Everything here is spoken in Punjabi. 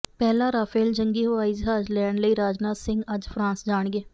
ਪਹਿਲਾ ਰਾਫ਼ੇਲ ਜੰਗੀ ਹਵਾਈ ਜਹਾਜ਼ ਲੈਣ ਲਈ ਰਾਜਨਾਥ ਸਿੰਘ ਅੱਜ ਫ਼ਰਾਂਸ ਜਾਣਗੇ